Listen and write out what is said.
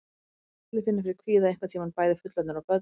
Allir finna fyrir kvíða einhvern tíma, bæði fullorðnir og börn.